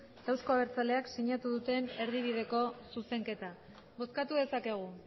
eta euzko abertzaleak sinatu duten erdibideko zuzenketa bozkatu dezakegu